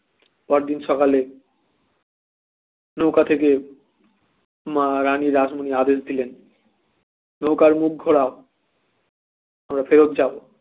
পরদিন সকালে নৌকা থেকে মা রানী রাসমণি আদেশ দিলেন নৌকার মুখ ঘুরাও আমরা ফেরত যাব।